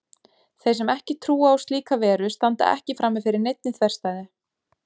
Þeir sem ekki trúa á slíka veru standa ekki frammi fyrir neinni þverstæðu.